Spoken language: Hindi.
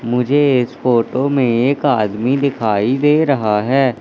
मुझे इस फोटो मे एक आदमी दिखाई दे रहा है।